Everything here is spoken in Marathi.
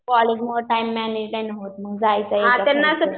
कॉलेजमुळं टाईम मॅनेजमेंट होत नाही जायचं